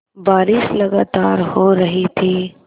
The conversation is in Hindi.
बारिश लगातार हो रही थी